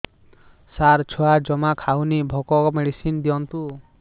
ସାର ଛୁଆ ଜମା ଖାଉନି ଭୋକ ମେଡିସିନ ଦିଅନ୍ତୁ